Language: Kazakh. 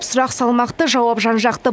сұрақ салмақты жауап жан жақты